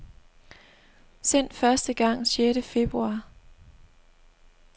Sendt første gang sjette februar.